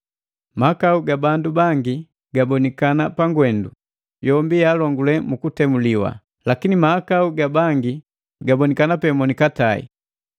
Mahakau ga bandu bangi gabonikana pangwendu, yombi yaalongule mukutemuliwa; lakini mahakau ga bangi gabonikana pe monikatae.